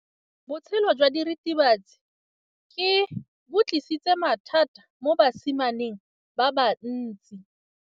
Botshelo jwa diritibatsi ke bo tlisitse mathata mo basimaneng ba bantsi.